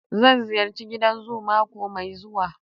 Zan ziyarci gidan zoo mako mai zuwa.